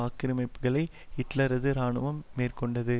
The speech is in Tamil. ஆக்கிரமிப்புக்களை ஹிட்லரது இராணுவம் மேற்கொண்டது